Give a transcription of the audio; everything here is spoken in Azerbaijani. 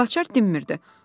Gülaçar dinmirdi.